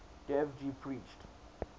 dev ji preached